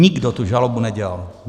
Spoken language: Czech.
Nikdo tu žalobu nedělal.